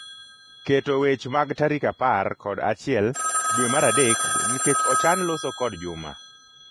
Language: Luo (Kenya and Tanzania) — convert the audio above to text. Keto wech mag tarik apar kod achiel dwe mar adek nikech ochan loso kod Juma.